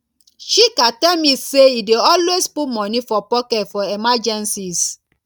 chika tell me say e dey always put money for pocket for emergencies